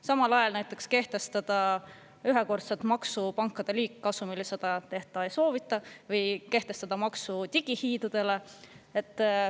Samal ajal näiteks kehtestada ühekordset maksu pankade liigkasumilt – seda teha ei soovita, või kehtestada maksu digihiidudele.